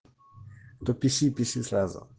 то пиши пиши сразу